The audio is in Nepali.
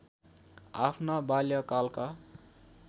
आफ्ना बाल्यकालका